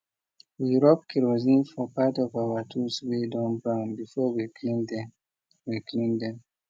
we rub kerosine for part of our tools way don brown before we clean them we clean them